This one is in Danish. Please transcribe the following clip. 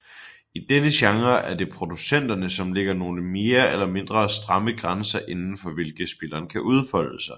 I denne genre er det producenterne som lægger nogle mere eller mindre stramme grænser indenfor hvilke spilleren kan udfolde sig